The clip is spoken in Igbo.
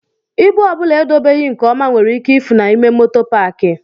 Ịbụ ọ bụla edobeghi nke ọma nwere ike ifu n'ime moto paaki.